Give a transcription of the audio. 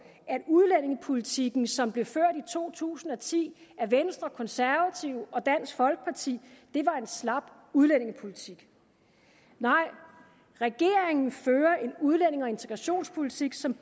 at udlændingepolitikken som blev ført i to tusind og ti af venstre og konservative og dansk folkeparti var en slap udlændingepolitik nej regeringen fører en udlændinge og integrationspolitik som